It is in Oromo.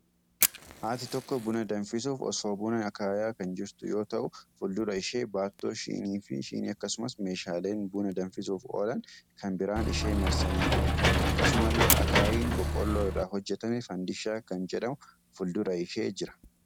Haati tokko buna danfiisuuf, osoo buna akaayaa kan jirtu yoo ta'u, fuuldura ishee baattoo shinii fi shinii akkasumas meeshaaleen buna danfisuuf oolan kan biraan ishee marsanii jiru. Akkasumalle Akaayiin boqqolloo irraa hojjatame, fandiishaa kan jedhamu fuuldura ishee jira.